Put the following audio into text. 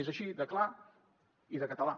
és així de clar i de català